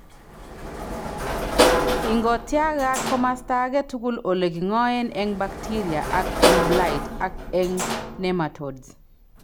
Ingotyagat komosta age tugul ole king'oen eng' baktiria ak eng' blight, ak eng' nematodes.